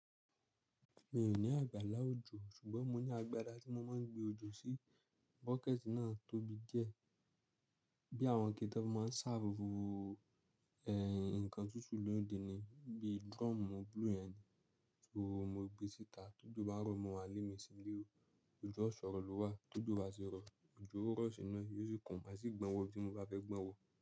Mi ò ní àgbàlá òjò ṣùgbọ́n mo ní agbada tí mo máa ń gbé òjò sí, bucket náà tóbi die. Bí àwọn iké ti won fi máa ń serve ẹ̀hìn nǹkan tútù lóde ni, bí drum blue yẹn ni, òro mo gbé síta ti ojo bá rọ̀ mọ́ wá lé mi síle oo òjò ọ̀ṣọ̀rọ̀ ló wà, ti ojo bá ti rọ̀, òjò ò rọ̀ sí inu yóò sùn kàn, a sì gbọ́n wọ bí mo bá fẹ́ gbọ́n wọ.